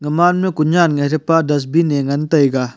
gamaan ma ku nyan dusbin ngan taiga.